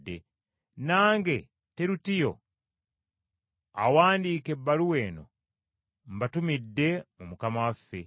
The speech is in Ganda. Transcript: Nange Terutiyo awandiika ebbaluwa eno, mbatumidde mu Mukama waffe.